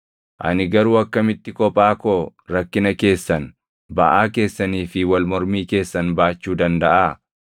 Ani garuu akkamitti kophaa koo rakkina keessan, baʼaa keessanii fi wal mormii keessan baachuu dandaʼaa?